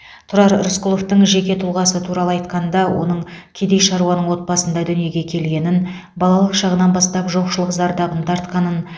тұрар рысқұловтың жеке тұлғасы туралы айтқанда оның кедей шаруаның отбасында дүниеге келгенін балалық шағынан бастап жоқшылық зардабын тартқанын